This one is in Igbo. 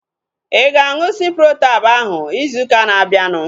Ịga aṅụ Ciprotab ahu ịzụ ụka na-abianu?